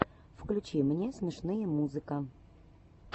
включи мне смешные музыка